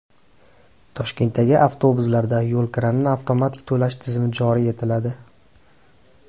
Toshkentdagi avtobuslarda yo‘lkirani avtomatik to‘lash tizimi joriy etiladi.